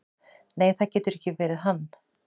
"""Nei, það getur ekki verið hann."""